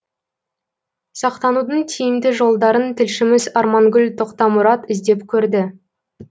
сақтанудың тиімді жолдарын тілшіміз армангүл тоқтамұрат іздеп көрді